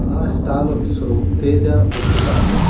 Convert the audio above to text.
ಆ ಸ್ಟಾಲು ಹೆಸರು Teja book stall .